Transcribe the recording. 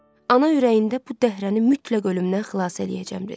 Ana ürəyində bu dəhrəni mütləq ölümdən xilas eləyəcəm dedi.